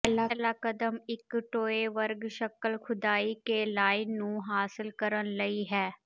ਪਹਿਲਾ ਕਦਮ ਇੱਕ ਟੋਏ ਵਰਗ ਸ਼ਕਲ ਖੁਦਾਈ ਕੇ ਲਾਈਨ ਨੂੰ ਹਾਸਲ ਕਰਨ ਲਈ ਹੈ